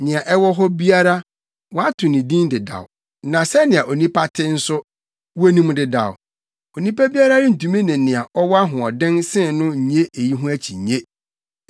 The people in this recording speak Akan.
Nea ɛwɔ hɔ biara, wɔato din dedaw, na sɛnea onipa te nso, wonim dedaw; onipa biara rentumi ne nea ɔwɔ ahoɔden sen no nnye eyi ho akyinnye.